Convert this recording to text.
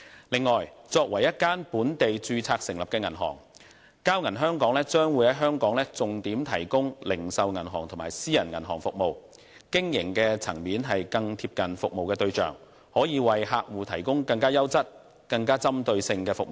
此外，作為一間本地註冊成立的銀行，交銀香港將於香港重點提供零售銀行及私人銀行服務，經營層面更貼近服務對象，能夠為客戶提供更優質及更具針對性的服務。